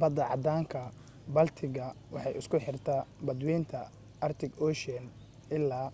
badda caddaanka-baltic-ga waxay isku xirtaaa badweynta arctic ocean ilaa